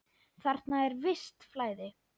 Þarna er visst flæði.